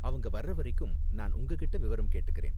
அவங்க வர்ற வரைக்கும் நான் உங்ககிட்ட விவரம் கேட்டுக்கறேன்.